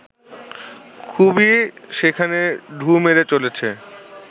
খুবই সেখানে ঢুঁ মেরে চলেছে